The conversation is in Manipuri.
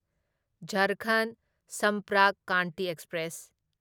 ꯓꯥꯔꯈꯟꯗ ꯁꯝꯄꯔꯛ ꯀ꯭ꯔꯥꯟꯇꯤ ꯑꯦꯛꯁꯄ꯭ꯔꯦꯁ